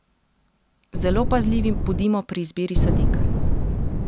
Zelo pazljivi bodimo pri izbiri sadik.